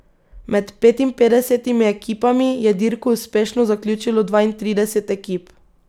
Med petinpetdesetimi ekipami je dirko uspešno zaključilo dvaintrideset ekip.